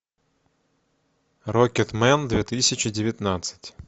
рокетмен две тысячи девятнадцать